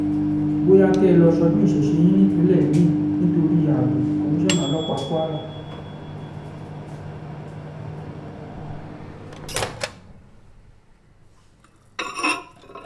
bóyá kẹ́ ẹ lọ́ọ́ ṣọdún ìṣẹ̀ṣẹ̀ yín nípínlẹ̀ mi-ín nítorí ààbọ̀ komisanna ọlọ́pàá kwara